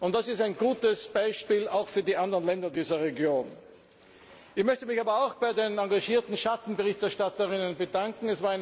Das ist ein gutes Beispiel, auch für die anderen Länder dieser Region. Ich möchte mich aber auch bei den engagierten Schattenberichterstatterinnen bedanken.